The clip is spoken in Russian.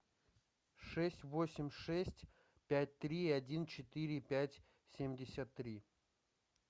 шесть восемь шесть пять три один четыре пять семьдесят три